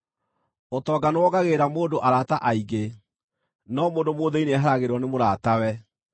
Ũtonga nĩwongagĩrĩra mũndũ arata aingĩ, no mũndũ mũthĩĩni nĩeheragĩrwo nĩ mũratawe.